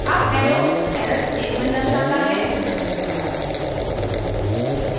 up arrow error statement दर्शाता है